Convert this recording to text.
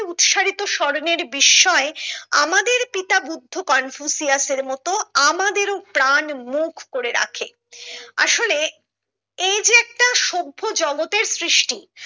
উৎসারিত স্বর্নের বিস্ময় আমাদের বুদ্ধ কনফুসিয়াস এর মতো আমাদের ও প্রাণ মুখ করে রাখে আসলে এই যে একটা সভ্য জগতের সৃষ্টি